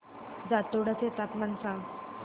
जातोडा चे तापमान सांग